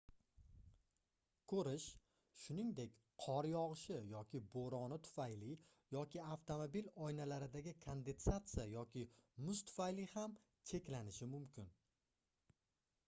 koʻrish shuningdek qor yogʻishi yoki boʻroni tufayli yoki avtomobil oynalaridagi kondensatsiya yoki muz tufayli ham cheklanishi mumkin